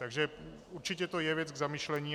Takže určitě to je věc k zamyšlení.